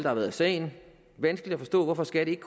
har været af sagen vanskeligt at forstå hvorfor skat ikke